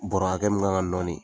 Bɔrɔ hakɛ min kan ka nɔɔni.